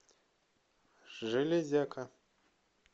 железяка